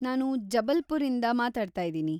ನಾನ್ ಜಬಲ್ಪುರ್‌ಇಂದ ಮಾತಾಡ್ತಾಯಿದೀನಿ.